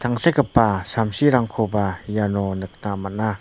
tangsekgipa samsirangkoba iano nikna man·a.